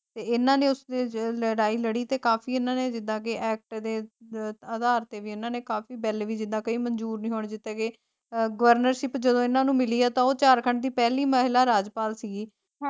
ਤੇ ਏਨਾ ਨੇ ਉਸਦੇ ਚ ਲੜਾਈ ਲੜੀ ਤੇ ਕਾਫੀ ਇੰਨਾ ਨੇ ਜਿਦਾਂ ਐਕਟ ਦੇ ਅਧਾਰ ਤੇ ਵੀ ਇੰਨਾ ਨੇ ਕਾਫੀ ਬਿੱਲ ਵੀ ਜਿਦਾ ਕਈ ਮੰਜੂਰ ਨਹੀਂ ਹੋਣੇ ਦਿੱਤੇ ਗਏ ਅਹ ਗਵਰਨਰਸ਼ਿਪ ਜਦੋ ਇੰਨਾ ਨੂੰ ਮਿਲੀ ਹੈ ਤਾਂ ਉਹ ਝਾਰਖੰਡ ਦੀ ਪਹਿਲੀ ਮਹਿਲਾ ਰਾਜਪਾਲ ਸੀਗੀ ਹਾਂ।